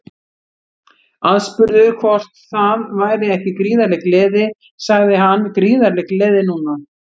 Aðspurður hvort það væri ekki gríðarleg gleði sagði hann Gríðarleg gleði núna.